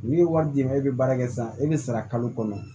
N'i ye wari d'i ma e bɛ baara kɛ sisan e bɛ sara kalo kɔnɔ